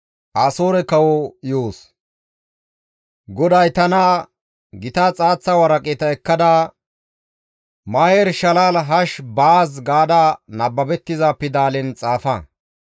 GODAY tana, «Gita xaaththa waraqata ekkada, ‹Maher-shalal hash-baaz› gaada nababettiza pidalen xaafa.